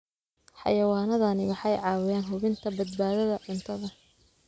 Xayawaanadani waxay caawiyaan hubinta badbaadada cuntada.